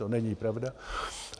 To není pravda.